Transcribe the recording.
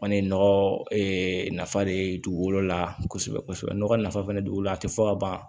Kɔni ye nɔgɔ de ye dugukolo la kosɛbɛ kosɛbɛ nɔgɔ nafa fana don dugukolo la a tɛ fɔ ka ban